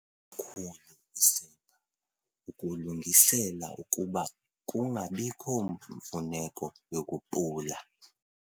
khulu isepha, ukulungisela ukuba kungabiko mfuneko yokupula.